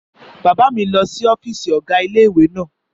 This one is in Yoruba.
Bàbá mi lọ sí ọ́fìsì ọ̀gá ilé-ìwé náà